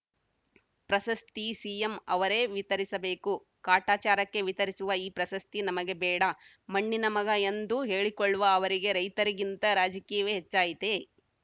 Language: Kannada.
ಪ್ರಸಸ್ತಿ ಸಿಎಂ ಅವರೇ ವಿತರಿಸಬೇಕು ಕಾಟಾಚಾರಕ್ಕೆ ವಿತರಿಸುವ ಈ ಪ್ರಸಸ್ತಿ ನಮಗೆ ಬೇಡ ಮಣ್ಣಿನ ಮಗ ಎಂದು ಹೇಳಿಕೊಳ್ಳುವ ಅವರಿಗೆ ರೈತರಿಗಿಂತ ರಾಜಕೀಯವೇ ಹೆಚ್ಚಾಯಿತೇ